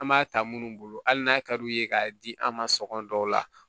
An b'a ta minnu bolo hali n'a ka d'u ye k'a di an ma sɔngɔ dɔw la